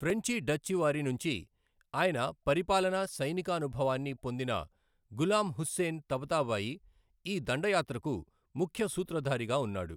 ఫ్రెంచి, Dutch వారి నుంచి ఆయన పరిపాలనా, సైనిక అనుభవాన్ని పొందిన గులాం హుస్సేన్ తబతాబాయి ఈ దండయాత్రకు ముఖ్య సూత్రధారిగా ఉన్నాడు.